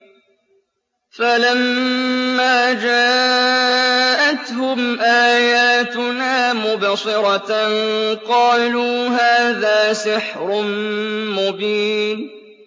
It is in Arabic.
فَلَمَّا جَاءَتْهُمْ آيَاتُنَا مُبْصِرَةً قَالُوا هَٰذَا سِحْرٌ مُّبِينٌ